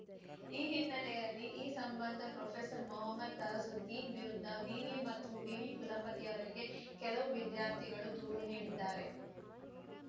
ಈ ಹಿನ್ನೆಲೆಯಲ್ಲಿ ಈ ಸಂಬಂಧ ಪ್ರೊಫೆಸರ್‌ ಮೊಹಮ್ಮದ್‌ ತಹಜುದ್ದೀನ್‌ ವಿರುದ್ಧ ವಿವಿ ಮತ್ತು ವಿವಿ ಕುಲಪತಿ ಅವರಿಗೆ ಕೆಲವು ವಿದ್ಯಾರ್ಥಿಗಳು ದೂರು ನೀಡಿದ್ದಾರೆ